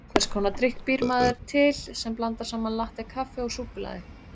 Hvers konar drykk býr maður til sem blandar saman latté-kaffi og súkkulaði?